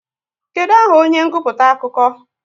Kedụ aha onye nguputa akụkọ?